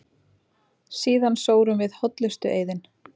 Síðan sórum við hollustueiðinn.